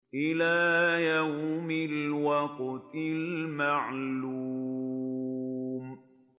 إِلَىٰ يَوْمِ الْوَقْتِ الْمَعْلُومِ